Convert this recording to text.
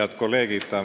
Head kolleegid!